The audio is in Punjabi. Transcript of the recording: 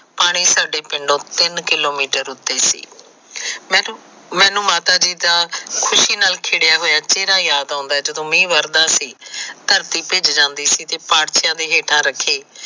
ਪਾਣੀ ਸਾਡੇ ਪਿੰਡੋ ਤਿੰਨ ਕਿਲੋਮੀਟਰ ਉਤੇ ਸੀ ਮੈਨੂੰ ਮਾਤਾ ਜੀ ਦਾ ਖੁਸ਼ੀ ਨਾਲ ਖਿੜਿਆ ਹੋਇਆ ਚਿਹਰਾ ਯਾਦ ਆਉਂਦਾ ਜਦੋ ਮੀਹ ਵਰਦਾ ਸੀ ਧਰਤੀ ਭਿਜ ਜਾਦੀ ਸੀ ਤੇ ਪਾਰਥਿਆ ਦੇ ਹੇਠਾ ਰੱਖੇ